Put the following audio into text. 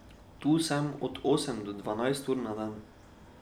Tu sem od osem do dvanajst ur na dan.